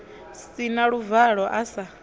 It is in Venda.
si na luvalo a sa